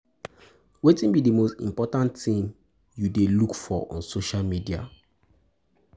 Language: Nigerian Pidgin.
Wetin be di most important thing you um dey look for on social media?